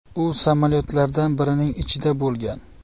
U samolyotlardan birining ichida bo‘lgan.